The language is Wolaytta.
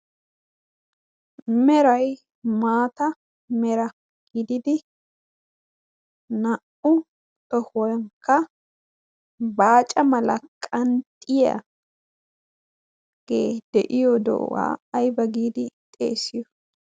Meray maata mera giididi naa"u xohuwankka baaca malaqan xiyaaagee de'iyo do'uwaa ayba giidi xeessiyo?